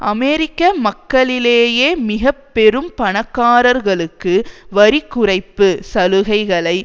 அமெரிக்க மக்களிலேயே மிக பெரும் பணக்காரர்களுக்கு வரி குறைப்பு சலுகைகளை